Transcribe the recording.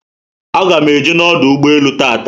Aga m eje na ọdụ ụgbọelu tata